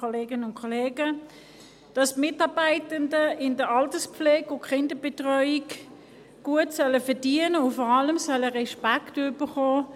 Die Mitarbeitenden in der Alterspflege und Kinderbetreuung sollen gut verdienen und vor allem Respekt erhalten: